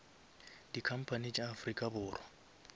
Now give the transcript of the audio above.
di company tša afrika borwa